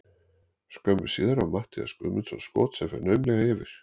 Skömmu síðar á Matthías Guðmundsson skot sem fer naumlega yfir.